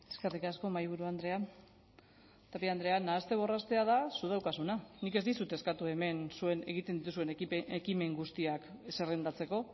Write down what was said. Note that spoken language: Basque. eskerrik asko mahaiburu andrea tapia andrea nahaste borrastea da zuk daukazuna nik ez dizut eskatu hemen zuek egiten dituzuen ekimen guztiak zerrendatzeko